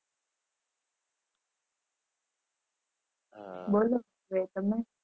હા બોલો હવે તમે